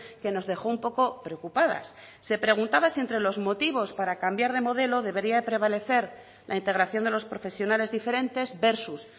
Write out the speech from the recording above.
que nos dejó un poco preocupadas se preguntaba si entre los motivos para cambiar de modelo debería de prevalecer la integración de los profesionales diferentes versus